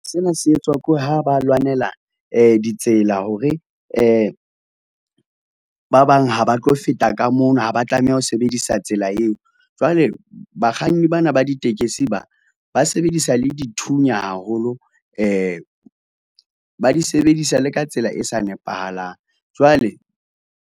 Sena se etswa ke ha ba lwanela ditsela, hore ba bang ha ba tlo feta ka mono, ha ba tlameha ho sebedisa tsela eo. Jwale bakganni bana ba ditekesi ba ba sebedisa le dithunya haholo ba di sebedisa le ka tsela e sa nepahalang jwale.